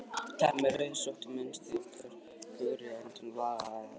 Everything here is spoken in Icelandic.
Teppi með rauðrósóttu munstri og kögri á endunum á gljáfægðum gólfdúknum.